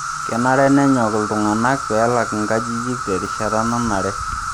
Kenare nenyok iltung'anak pee elak nkajijik terishata nanare.